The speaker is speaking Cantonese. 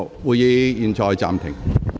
會議現在暫停。